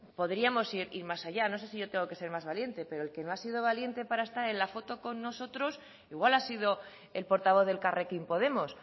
podríamos ir más allá yo no sé si tengo que ser más valiente pero el que no ha sido valiente para estar en la foto con nosotros igual ha sido el portavoz de elkarrekin podemos